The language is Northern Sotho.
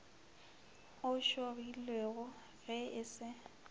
o šogilwego ge e se